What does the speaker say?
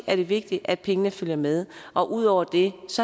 er det vigtigt at pengene følger med og ud over det